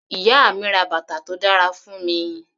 Ìyá mi ra bàtà tó dára fún mi.